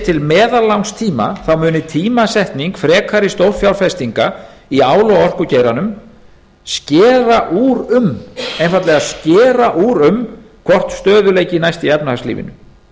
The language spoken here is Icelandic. til meðallangstíma mun tímasetning frekari stórfjárfestinga í ál og orkugeiranum skera úr um einfaldlega skera úr um hvort stöðugleiki næst í efnahagslífinu